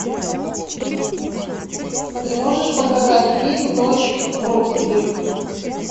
ты можешь показать фильм ночь в роксбери